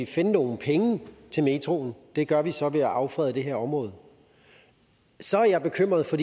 finde nogle penge til metroen det gør vi så ved at affrede det her område så er jeg bekymret for